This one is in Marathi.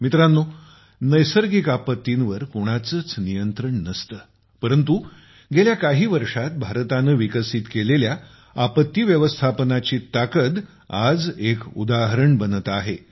मित्रांनो नैसर्गिक आपत्तींवर कोणाचाच नियंत्रण नाही परंतु गेल्या काही वर्षांत भारताने विकसित केलेल्या आपत्ती व्यवस्थापनाची ताकद आज एक उदाहरण बनत आहे